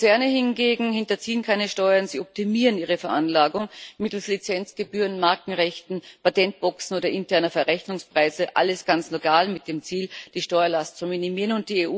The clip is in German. Konzerne hingegen hinterziehen keine Steuern, sie optimieren ihre Veranlagung mittels Lizenzgebühren, Markenrechten, Patentboxen oder interner Verrechnungspreise alles ganz legal mit dem Ziel, die Steuerlast zu minimieren.